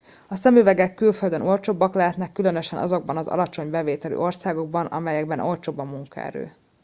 a szemüvegek külföldön olcsóbbak lehetnek különösen azokban az alacsony bevételű országokban amelyekben olcsóbb a munkaerő